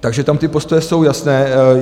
Takže tam ty postoje jsou jasné.